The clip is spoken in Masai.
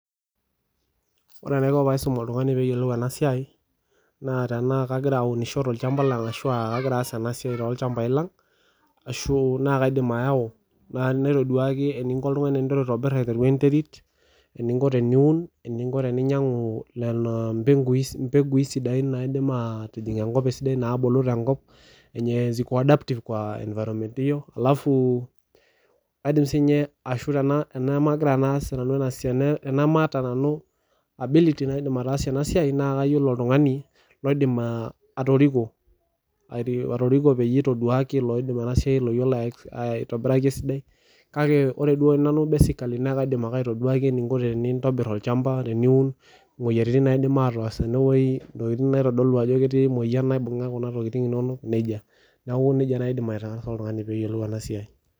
Ore enaiko tenaisum oltung'ani metayiolo ena siai naa tenaa kagira aunisho tolchambai lang ashu naa kaidim ayawu egira aiteru oltung'ani aitobir enterit eninko teniun eninko teninyiangu mbegui naidim atubulu tenkop enye ziko adaptive kwa environment hio ashu tenamataa nanu ability[cs[naidim ataasie ena siai naa kayiolo oltung'ani oidim atoriko pee eyie eitodol ena siai oyiolo aitobiraki esidai kake ore duo nanu basically naa kaidim atodua eninko tenintobir olchamba teniun moyiaritin naidim ataas tenewueji ntokitin naitodolu Ajo ketii emoyian naibung'a Kuna tokitin enono neeku nejia naaji aidima aitaasa oltung'ani pee eyiolou ena siai